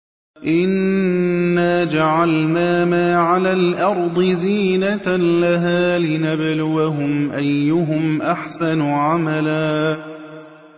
إِنَّا جَعَلْنَا مَا عَلَى الْأَرْضِ زِينَةً لَّهَا لِنَبْلُوَهُمْ أَيُّهُمْ أَحْسَنُ عَمَلًا